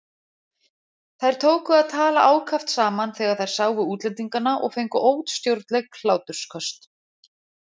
Þær tóku að tala ákaft saman þegar þær sáu útlendingana og fengu óstjórnleg hlátursköst.